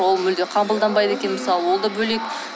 ол мүлде қабылданбайды екен мысалы ол да бөлек